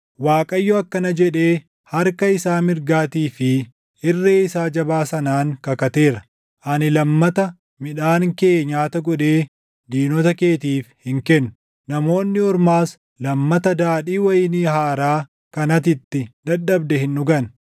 Waaqayyo akkana jedhee harka isaa mirgaatii fi irree isaa jabaa sanaan kakateera; “Ani lammata midhaan kee nyaata godhee diinota keetiif hin kennu; namoonni ormaas lammata daadhii wayinii haaraa kan ati itti dadhabde hin dhugan;